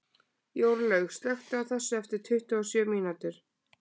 Jórlaug, slökktu á þessu eftir tuttugu og sjö mínútur.